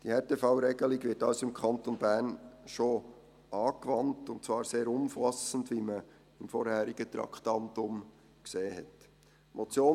Diese Härtefallregelung wird also im Kanton Bern schon angewandt, und zwar sehr umfassend, wie man beim vorangegangenen Traktandum gesehen hat.